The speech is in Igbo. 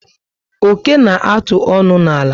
Oké na atụ ọṅụ na àlà